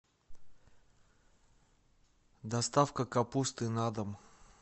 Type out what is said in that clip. доставка капусты на дом